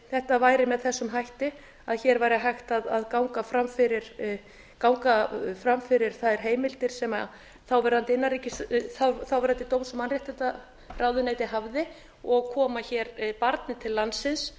þetta væri með þessum hætti að hér væri hægt að ganga fram fyrir þær heimildir sem þáverandi dóms og mannréttindaráðuneyti hafði og koma hér barni til landsins